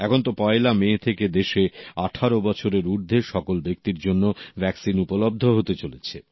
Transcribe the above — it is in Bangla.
এখন তো পয়লা মে থেকে দেশে ১৮ বছরের ঊর্ধ্বে সকল ব্যক্তির জন্য ভ্যাকসিন উপলব্ধ হতে চলেছে